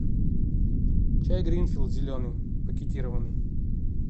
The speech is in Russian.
чай гринфилд зеленый пакетированный